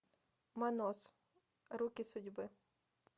манос руки судьбы